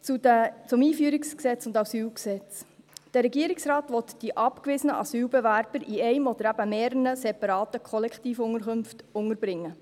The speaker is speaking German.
Zum EG AIG und AsylG: Der Regierungsrat will die abgewiesenen Asylbewerber in einer oder eben mehreren separaten Kollektivunterkünften unterbringen.